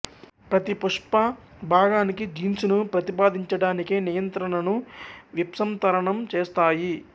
ప్రతి పుష్ప భాగానికి జీన్స్ ను ప్రతిపాదిన్చడానికై నియంత్రణను విప్సంతరణం చేస్తాయి